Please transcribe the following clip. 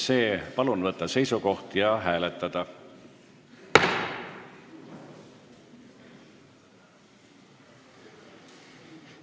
Palun võtta seisukoht ja hääletada!